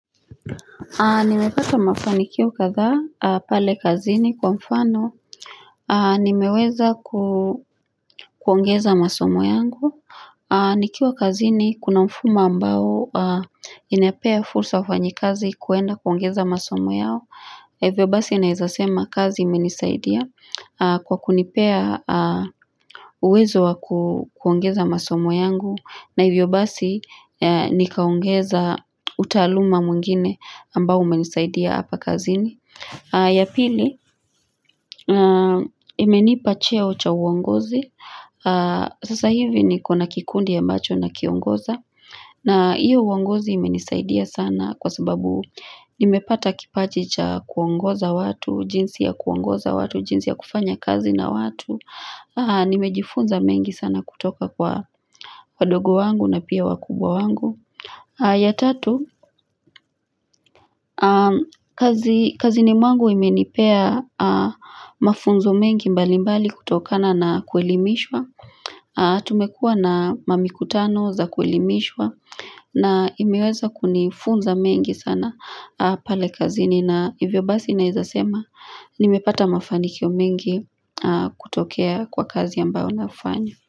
Nimepata mafanikio kadha pale kazini kwa mfano nimeweza kuongeza masomo yangu. Nikiwa kazini kuna mfumo ambao inapea fursa wafanyikazi kuenda kuongeza masomo yao Hivyo basi anawezasema kazi imenisaidia kwa kunipea uwezo wa kuongeza masomo yangu na hivyo basi, nikaongeza utaluma mwingine ambao umenisaidia hapa kazini. Ya pili, imenipa cheo ucha uongozi. Sasa hivi niko na kikundi ambacho nakiongoza. Na hiyo uongozi imenisaidia sana kwa sababu nimepata kipaji cha kuongoza watu, jinsi ya kuongoza watu, jinsi ya kufanya kazi na watu. Nimejifunza mengi sana kutoka kwa wadogo wangu na pia wakubwa wangu ya tatu, kazini mwangu imenipea mafunzo mengi mbali mbali kutokana na kuelimishwa Tumekua na mamikutano za kuelimishwa na imeweza kunifunza mengi sana pale kazini na hivyo basi nawezasema, nimepata mafanikio mengi kutokea kwa kazi ambayo nafanya.